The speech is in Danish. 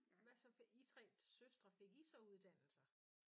Hvad så I 3 søstre fik I så uddannelser?